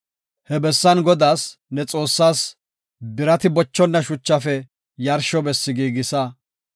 He bessan Godaas, ne Xoossaas, birati bochonna shuchafe yarsho bessi giigisa.